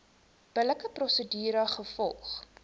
billike prosedure gevolg